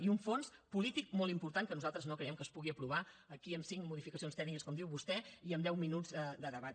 i un fons polític molt important que nosaltres no creiem que es pugui aprovar aquí amb cinc modificacions tècniques com diu vostè i amb deu minuts de debat